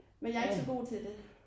Men jeg ikke så god til det